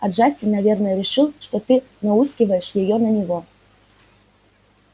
а джастин наверное решил что ты науськиваешь её на него